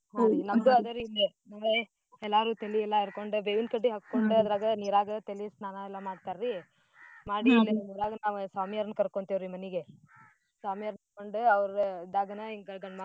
ನಮ್ದು ಅದ ರೀ ಇಲ್ಲೇ ಎಲ್ಲಾರೂ ತಲಿ ಎಲ್ಲಾ ಎರ್ಕೊಂಡ ಬೇವಿನ್ ಕಡ್ಡಿ ಹಕೋಂಡ ಅದ್ರಾಗ ನೀರಾಗ ತಲಿ ಸ್ನಾನ ಎಲ್ಲಾ ಮಾಡ್ತಾರ್ರೀ ಮಾಡಿ ಎಲ್ಲಾರೂ ನಾವ್ ಸ್ವಾಮೀಯರ್ನ್ ಕರ್ಕೊಂತೆೇವ್ರೀ ಮನಿಗೆ. ಸ್ವಾಮೀಯರ್ನ್ ಕರ್ಕೊಂಡ್ ಅವ್ರ ಇದ್ದಾಗನ.